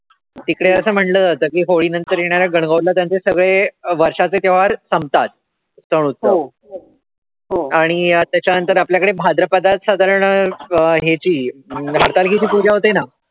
तिकडे असं म्हणलं जात कि होळी नंतर येणाऱ्या गण-गौर ला सगळे वर्षाचे संपतात आणि त्याच्यानंतर आपल्याकडे भाद्रपदात साधारण हेचि पूजा होते ना